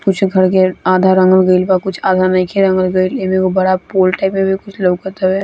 कुछ घर के आधा रंगल गेल बा कुछ आधा नइखे रंगल गइल इमे एगो बड़ा पोल टाइप के लउका तारे।